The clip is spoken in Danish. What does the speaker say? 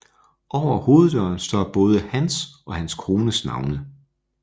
Over hoveddøren står både hans og hans kones navne